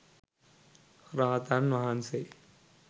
rahathan wahanse